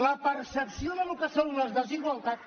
la percepció del que són les desigualtats